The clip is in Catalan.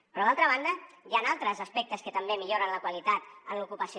però d’altra banda hi han altres aspectes que també milloren la qualitat en l’ocupació